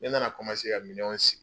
Ne nana ka minɛnw si